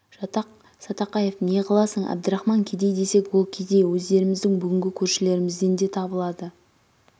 жатақ-сатақаеп неғыласың әбдірахман кедей десек ол кедей өздеріміздің бүгінғі көршілерімізден де табылады